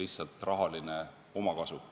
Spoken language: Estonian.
lihtsalt rahaline omakasu.